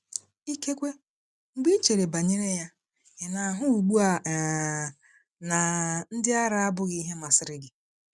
Ikekwe, mgbe ị chere banyere ya, ị na-ahụ ugbu a um na “ndị ara” abụghị ihe masịrị gị.